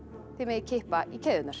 þið megið kippa í keðjurnar